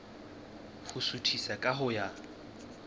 ho suthisa ka ho ya